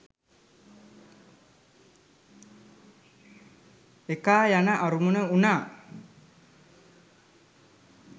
ඒකායන අරමුණ වුණා.